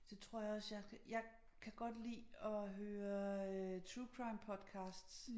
Så tror jeg også jeg jeg kan godt lide at høre øh True crime Podcasts